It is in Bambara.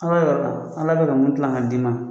Ala yɔrɔ la, Ala bɛka ka mun dilan ka d'i ma